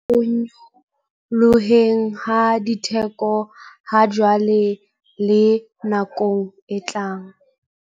Borwa ho nyolloheng ha ditheko hajwale le nakong e tlang.